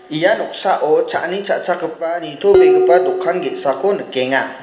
ia noksao cha·ani cha·chakgipa nitobegipa dokan ge·sako nikenga.